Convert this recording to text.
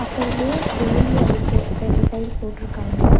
பக்கத்லயே வேலி அதுக்கு ரெண்டு சைட் போட்ருக்காங்க.